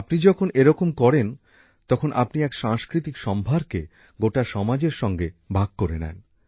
আপনি যখন এরকম করেন তখন আপনি এক সাংস্কৃতিক সম্ভারকে গোটা সমাজের সাথে ভাগ করে নেন